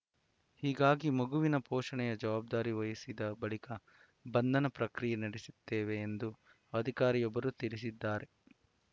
ಹೀಗಾಗಿ ಮಗುವಿನ ಪೋಷಣೆಯ ಜವಾಬ್ದಾರಿ ವಹಿಸಿದ ಬಳಿಕ ಬಂಧನ ಪ್ರಕ್ರಿಯೆ ನಡೆಸುತ್ತೇವೆ ಎಂದು ಅಧಿಕಾರಿಯೊಬ್ಬರು ತಿಳಿಸಿದ್ದಾರೆ